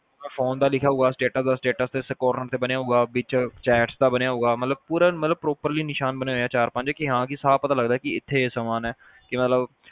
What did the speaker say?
phone ਦਾ ਲਿਖਿਆ ਹੋਉਗਾ status ਦਾ status corner ਤੇ ਬਣਿਆ ਹੋਉਗਾ ਵਿੱਚ chats ਦਾ ਬਣਿਆ ਹੋਉਗਾ ਮਤਲਬ ਪੂਰਾ ਮਤਲਬ properly ਨਿਸ਼ਾਨ ਬਣੇ ਹੋਏ ਚਾਰ-ਪੰਜ ਕਿ ਹਾਂ ਸਾਫ਼ ਪਤਾ ਚਲਦਾ ਕਿ ਇੱਥੇ ਇਹ ਸਮਾਨ ਆ